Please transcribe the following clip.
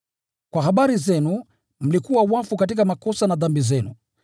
Kwa habari zenu, mlikuwa wafu katika makosa na dhambi zenu,